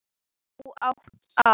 Þú átt það.